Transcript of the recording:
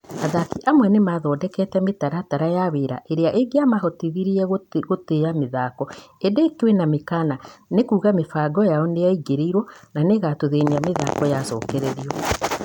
Athaki amwe nĩ mathondekete mĩtaratara ya wĩra ĩrĩa ĩngĩa mahotithirie gũtĩa mĩthako ĩndĩ kwĩna mĩkana, nĩ kuuga mĩbango yao nĩyaingĩrĩirũo na nĩĩgatũthĩnia mĩthako yacokererio.